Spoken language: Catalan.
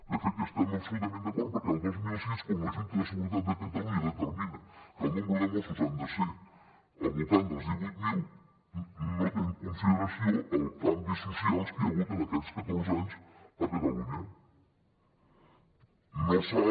de fet hi estem absolutament d’acord perquè el dos mil sis quan la junta de seguretat de catalunya determina que el nombre de mossos han de ser al voltant dels divuit mil no té en consideració els canvis socials que hi ha hagut en aquests catorze anys a catalunya no s’ha